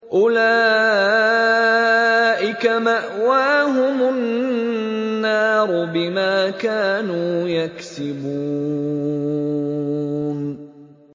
أُولَٰئِكَ مَأْوَاهُمُ النَّارُ بِمَا كَانُوا يَكْسِبُونَ